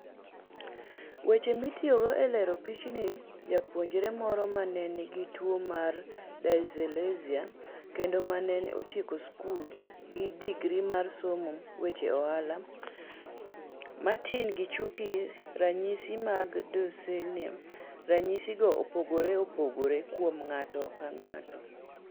Weche mitiyogo e lero pichni Japuonjre moro ma ne nigi tuwo mar dyslexia, kendo ma ne otieko skul gi digri mar somo weche ohala, Martin Gichuk Ranyisi mag Dyslexia Ranyisigo opogore opogore kuom ng'ato ka ng'ato.